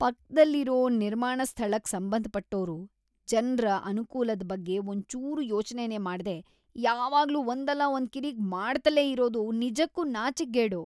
ಪಕ್ದಲ್ಲಿರೋ ನಿರ್ಮಾಣ ಸ್ಥಳಕ್‌ ಸಂಬಂಧಪಟ್ಟೋರು ಜನ್ರ ಅನ್ಕೂಲದ್ ಬಗ್ಗೆ ಒಂಚೂರೂ ಯೋಚ್ನೆನೇ ಮಾಡ್ದೇ ಯಾವಾಗ್ಲೂ ಒಂದಲ್ಲಾ ಒಂದ್ ಕಿರಿಕ್‌ ಮಾಡ್ತಲೇ ಇರೋದು ನಿಜಕ್ಕೂ ನಾಚಿಕ್ಗೇಡು.